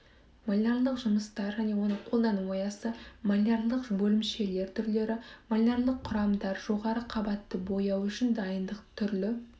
малярлық жұмыстар және оны қолдану аясы малярлық бөлімшелер түрлері малярлық құрамдар жоғары қабатты бояу үшін дайындық түрлі